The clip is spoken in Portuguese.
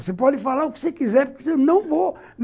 Você pode falar o que você quiser, eu não vou.